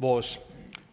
vores